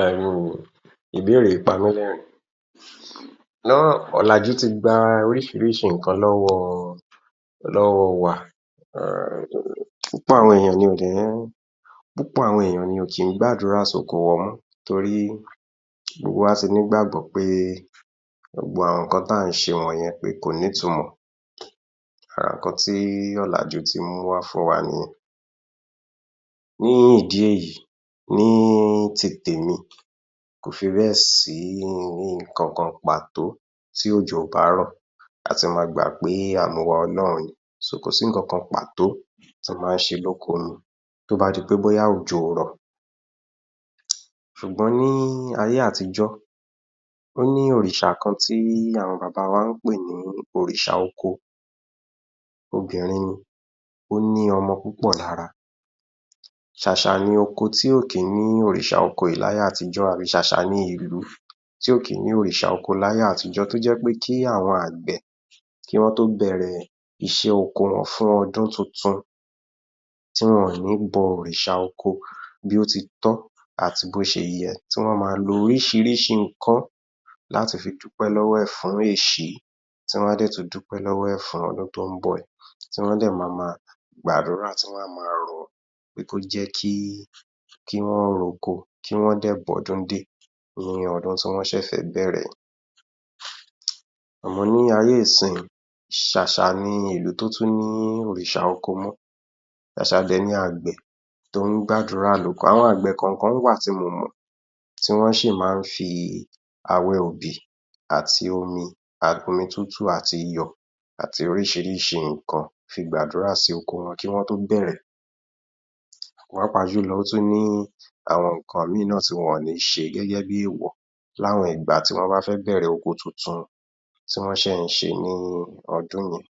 um ìbéèrè yìí pa mí lẹ̀rín, ọ̀làjú tí gba oríṣiríṣi nǹkan lọ́wọ́ lọ́wọ́ wa púpọ̀ àwọn ènìyàn dẹ̀ ń púpọ̀ àwọn ènìyàn ní wọn kì í gbàdúrà sí oko wọn mọ́ nítorí gbogbo wa ti ní ìgbàgbọ́ pé gbogbo àwọn nǹkan tí à ń ṣe wọ̀nyẹn pé kò ní ìtumọ̀ ara àwọn nǹkan tí ọ̀làjú mú wá fún wa nìyẹn, ní ìdí èyí ní tèmi kò fibẹ̀ sí nǹkan kan pàtó tí òjò kárọ̀ a ti ma gbà pé àmúwá Ọlọ́run ni ko si nǹkan kan pàtó tí ó máa ń ṣe ní oko ni ti o ba di pé òjò kò rọ̀, ṣùgbọ́n ní ayé àtíjọ́ ó ní Òrìṣà kan tí àwọn Bàbá wa máa ń pè ní Òrìṣà oko obìnrin ni ó ní ọmọ púpọ̀ lára, ṣàṣà ni oko tí kò kín ní Òrìṣà oko yìí ni ayé àtíjọ́ tàbí ṣàṣà ni ìlú tí ó kìn ní Òrìṣà oko ni ayé àtíjọ́ tí ó jẹ́ pé kí àwọn àgbẹ̀ kí wọ́n tó bẹ̀rẹ̀ iṣẹ́ oko wọn fún ọdún tuntun tí wọn ò ní bọ Òrìṣà oko bí ó ti tọ́ àti bí ó ṣe yẹ tí wọ́n ma lo oríṣiríṣi nǹkan láti fi dúpẹ́ lọ́wọ́ rẹ̀ fún èṣí tí wọn sì tún dúpẹ́ lọ́wọ́ rẹ̀ fún ọdún tí ó ń bọ̀ yìí tí wọ́n á dẹ̀ mama gbàdúrà tí wọ́n á mama rọ̀ pé kó jẹ́ kí, kí wọ́n ro oko kí wọ́n dẹ̀ bá ọdún dé ní ọdún tí wọ́n fẹ́ ṣẹ̀ṣẹ̀ bẹ̀rẹ̀, àmọ́ ní ayé nísì ṣàṣà ni ìlú tí ó ní Òrìṣà oko mọ́, ṣàṣà dẹ̀ ni àgbẹ̀ tí ó ń gbàdúrà lóko àwọn kọ̀ọ̀kan wà tí mo mọ̀ti wọ́n sì máà ń fi awẹ́ obì àti omi tútù àti iyọ̀ àti oríṣiríṣi nǹkan fi gbàdúrà sí oko wọn kí wọ́n tó bẹ̀rẹ̀, pàápàá jùlọ ó tún ní àwọn nǹkan ìmíì tí wọn ò ní ṣe gẹ́gẹ́ bi èèwọ̀ ní àwọn ìgbà tí wọ́n bá fẹ́ bẹ̀rẹ̀ oko tuntun tí wọ́n ṣẹ̀ ń ṣe ní ọdún yẹn